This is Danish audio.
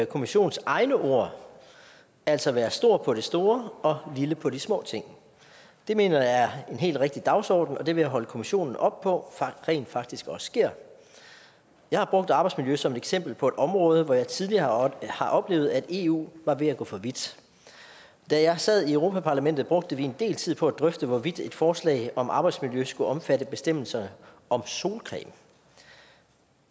kommissions egne ord altså være stor på det store og lille på de små ting det mener jeg er en helt rigtig dagsorden og det vil jeg holde kommissionen op på rent faktisk også sker jeg har brugt arbejdsmiljøet som eksempel på et område hvor jeg tidligere har oplevet at eu var ved at gå for vidt da jeg sad i europa parlamentet brugte vi en del tid på at drøfte hvorvidt et forslag om arbejdsmiljø skulle omfatte bestemmelser om solcreme